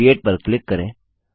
create पर click करें